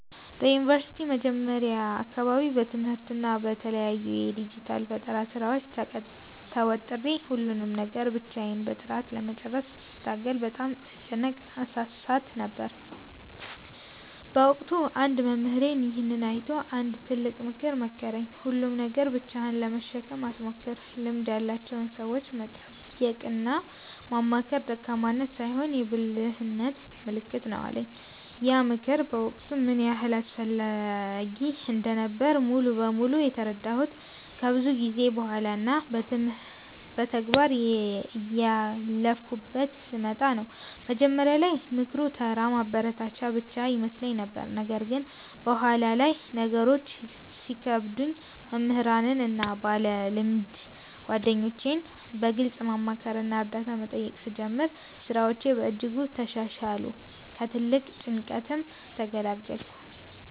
በዩኒቨርሲቲ መጀመሪያ አካባቢ በትምህርትና በተለያዩ የዲጂታል ፈጠራ ሥራዎች ተወጥሬ፣ ሁሉንም ነገር ብቻዬን በጥራት ለመጨረስ ስታገል በጣም እጨነቅና እሳሳት ነበር። በወቅቱ አንድ መምህሬ ይሄንን አይቶ አንድ ትልቅ ምክር መከረኝ፦ "ሁሉንም ነገር ብቻህን ለመሸከም አትሞክር፤ ልምድ ያላቸውን ሰዎች መጠየቅና ማማከር ደካማነት ሳይሆን የብልህነት ምልክት ነው" አለኝ። ያ ምክር በወቅቱ ምን ያህል አስፈላጊ እንደነበረ ሙሉ በሙሉ የተረዳሁት ከብዙ ጊዜ በኋላ እና በተግባር እያለፍኩበት ስመጣ ነው። መጀመሪያ ላይ ምክሩ ተራ ማበረታቻ ብቻ ይመስለኝ ነበር። ነገር ግን በኋላ ላይ ነገሮች ሲከብዱኝ መምህራንን እና ባለልምድ ጓደኞቼን በግልጽ ማማከርና እርዳታ መጠየቅ ስጀምር፣ ሥራዎቼ በእጅጉ ተሻሻሉ፤ ከትልቅ ጭንቀትም ተገላገልኩ።